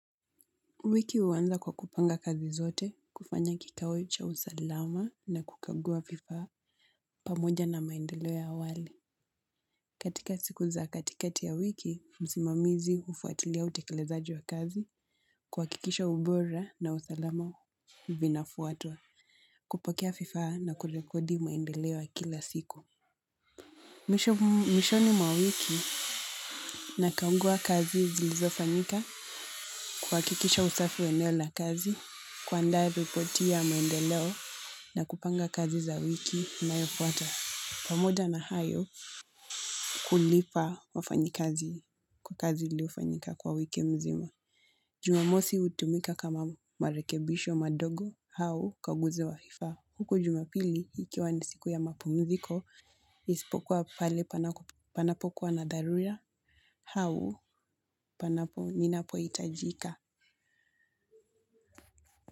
Wiki huanza kwa kupanga kazi zote, kufanya kikao cha usalama na kukagua vifaa, pamoja na maendeleo ya awali. Katika siku za katikati ya wiki, msimamizi hufuatilia utekelezaji wa kazi, kuhakikisha ubora na usalama vinafuatwa, kupakia vifaa na kurekodi maendeleo ya kila siku. Mwishoni mwa wiki na kagua kazi zilizofanyika kuhakikisha usafi wa eneo la kazi, kuandaa ripoti ya maendeleo na kupanga kazi za wiki inayofuata. Pamoja na hayo kulipa wafanyikazi kwa kazi iliyofanyika kwa wiki mzima. Jumamosi hutumika kama marekebisho madogo au ukaguzi wa vifaa. Huku jumapili ikiwa ni siku ya mapumziko ispokuwa pale panapokuwa na dharura hau panapo ninapo hitajika.